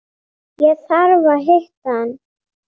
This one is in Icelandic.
Ég þarf að hitta mann.